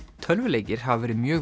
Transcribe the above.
tölvuleikir hafa verið mjög